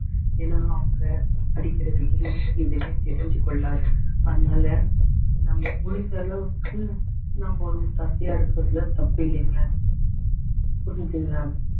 ஏன்னா அவங்க அடிக்கிற வெயிலுக்கு எதுவுமே தெரிஞ்சு கொள்ளாது அதனால நம்ம முடிஞ்ச அளவுக்கு நம்ம ஒரு ஒத்தாசையா இருக்கிறதுல தப்பில்லைங்க புரியுதுங்களா